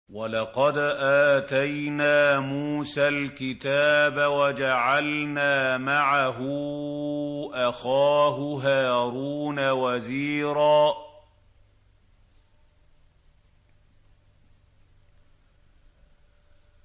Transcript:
وَلَقَدْ آتَيْنَا مُوسَى الْكِتَابَ وَجَعَلْنَا مَعَهُ أَخَاهُ هَارُونَ وَزِيرًا